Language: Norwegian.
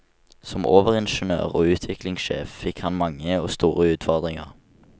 Som overingeniør og utviklingssjef fikk han mange og store utfordringer.